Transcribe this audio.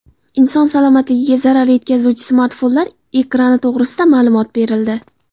Inson salomatligiga zarar yetkazuvchi smartfonlar ekrani to‘g‘risida ma’lumot berildi.